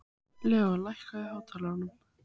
Leon, lækkaðu í hátalaranum.